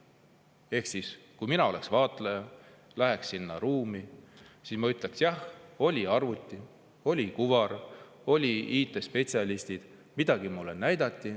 Ehk siis, kui mina oleks vaatleja, läheks sinna ruumi, siis ma ütleks: jah, oli arvuti, oli kuvar, olid IT-spetsialistid, midagi mulle näidati.